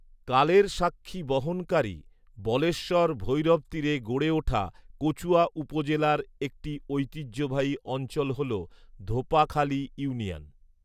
কালেরস্বাক্ষী বহনকারী বলেশ্বর ভৈরবতীরে গড়ে উঠা কচুয়া উপজেলার একটিঐতিহ্যবাহী অঞ্চল হল ধোপাখালী ইউনিয়ন